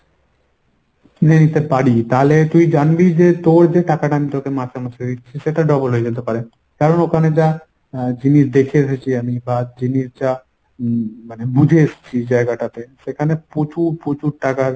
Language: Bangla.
নেইতে পারি তাহলে তুই জানবি যে তোর যে টাকাটা আমি তোকে মাসে মাসে ‍দিচ্ছি সেটা double হয়ে যেতে পারে। কারণ ওখানে যা এর জিনিস দেখে এসেছি আমি বা জিনিস যা মানে বুঝে এসছি জায়গাটাতে সেখানে প্রচুর প্রচুর টাকা